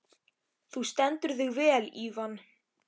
Þú stendur þig vel, Ívan!